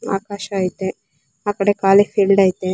ಆಕಾಶ ಐತೇ ಆಕಡೆ ಖಾಲಿ ಫೀಲ್ಡ್ ಐತೇ.